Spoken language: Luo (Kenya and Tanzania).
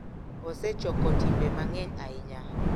Osechoko timbe mang’eny ahinya,